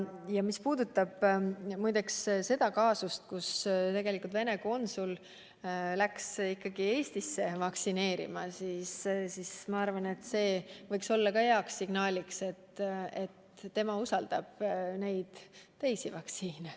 Ja mis puudutab seda juhtumit, et Venemaa konsul laskis ennast ikkagi Eestis vaktsineerida, siis ma arvan, et see võiks olla hea signaal: tema usaldab neid teisi vaktsiine.